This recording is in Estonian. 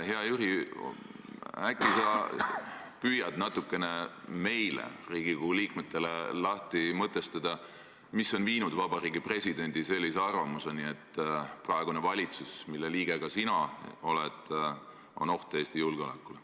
Hea Jüri, äkki sa püüad natukene meile, Riigikogu liikmetele, lahti mõtestada, mis on viinud Vabariigi Presidendi sellisele arvamusele, et praegune valitsus, mille liige ka sina oled, on oht Eesti julgeolekule.